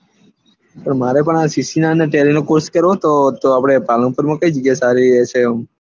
મારે પણ આ સીખી ને ટેલી નો કોર્ષ કરવો હતો તો આપળે પાલનપુર માં કઈ જગ્યા સારી રેહશે એમ